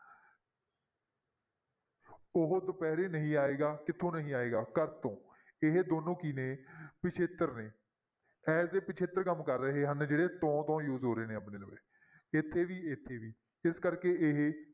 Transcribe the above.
ਉਹ ਦੁਪਹਿਰੇ ਨਹੀਂ ਆਏਗਾ ਕਿੱਥੋਂ ਨਹੀਂ ਆਏਗਾ, ਕਾਸਤੋਂ ਇਹ ਦੋਨੋਂ ਕੀ ਨੇ ਪਿੱਛੇਤਰ ਨੇ as a ਪਿੱਛੇਤਰ ਕੰਮ ਕਰ ਰਹੇ ਹਨ ਜਿਹੜੇ ਤੋਂ ਤੋਂ use ਹੋ ਰਹੇ ਨੇ ਇੱਥੇ ਵੀ ਇੱਥੇ ਵੀ ਇਸ ਕਰਕੇ ਇਹ